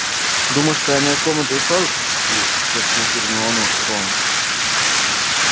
думаешь тайная комната и вправду существует спросил гермиону рон